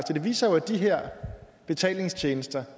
det viser jo at de her betalingstjenester